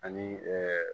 Ani